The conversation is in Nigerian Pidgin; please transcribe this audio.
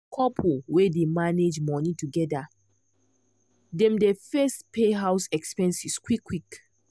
couple wey dey manage money together dem dey first pay house expenses quick quick.